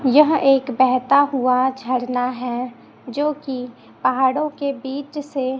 यह एक बहेता हुआ झरना है जो कि पहाड़ों के बीच से--